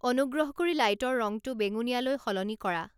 অনুগ্ৰহ কৰি লাইটৰ ৰংটো বেঙুনীয়ালৈ সলনি কৰা